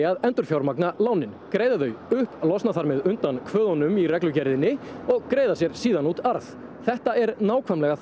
að endurfjármagna Íbúðalánasjóðslánin greiða þau upp losna þannig undan kvöðunum í reglugerðinni og greiða sér út arð þetta er nákvæmlega